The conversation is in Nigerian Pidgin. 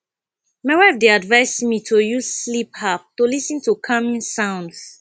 my wife dey advise me to use sleep app to lis ten to calming sounds